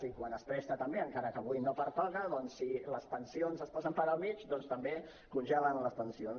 i quan es presta també encara que avui no pertoca doncs si les pensions es posen pel mig també congelen les pensions